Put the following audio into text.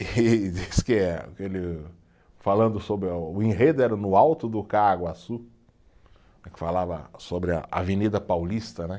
E disse que eh, que ele, falando sobre, o enredo era no alto do Caaguaçu, que falava sobre a Avenida Paulista, né?